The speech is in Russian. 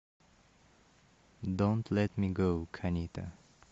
донт лет ми гоу канита